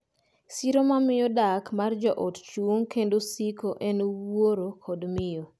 Siro ma miyo dak mar joot chung’ kendo siko en wuoro kod miyo.